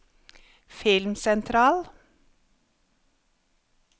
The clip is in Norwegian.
filmsentral